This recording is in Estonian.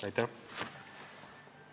Aitäh!